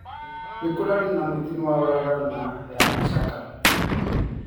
Ni kurari na mutino wa farafara ni ya Masaka.